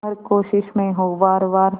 हर कोशिश में हो वार वार